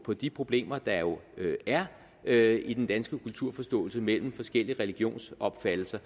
på de problemer der jo er i den danske kulturforståelse mellem forskellige religionsopfattelser